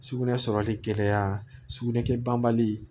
Sugunɛ sɔrɔli gɛlɛya sugunɛ kɛ banbali